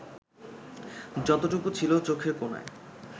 যতটুকু ছিল চোখের কোণায়